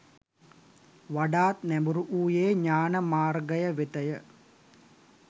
වඩාත් නැඹුරුවූයේ ඥාන මාර්ගය වෙතය